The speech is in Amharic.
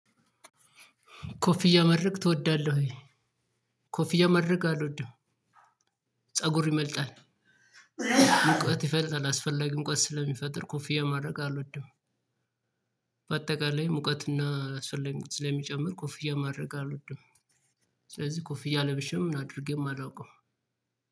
ኮፍያ ማድረግ ትወዳለህ ወይ? ኮፍያ ማድረግ አልወድም ፀጉር ይመልጣል። ሙቀት ይፈጥራል አስፈላጊ ሙቀት ስለሚፈጥር ኮፍያ ማድረግ አልወድም። በአጠቃላይ ሙቀትና ስለሚጨምር ኮፍያ ማድረግ አልወድም። ስለዚህ ኮፍያ ለብሼም አድርጌ ማላውቀው